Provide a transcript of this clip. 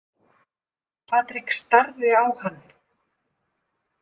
Patrik starði á hann.